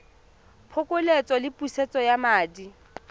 phokoletso le pusetso ya madi